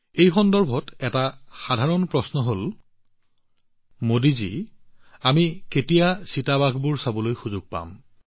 এই সন্দৰ্ভত জনসাধাৰণৰ এটা সচৰাচৰ প্ৰশ্ন হল মোদীজী আমি কেতিয়া চিতাবোৰ চাবলৈ সুযোগ পাম